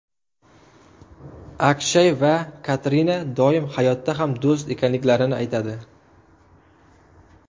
Akshay va Katrina doim hayotda ham do‘st ekanliklarini aytadi.